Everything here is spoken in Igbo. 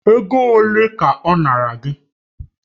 Ego ole ka ọ nara gị?